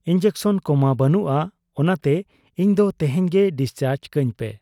Injection ᱠᱚᱢᱟ ᱵᱟᱹᱱᱩᱜ ᱟ ᱾ ᱚᱱᱟᱛᱮ ᱤᱧᱫᱚ ᱛᱮᱦᱮᱧ ᱜᱮ ᱰᱤᱥᱪᱟᱨᱡᱽ ᱠᱟᱹᱧᱯᱮ ᱾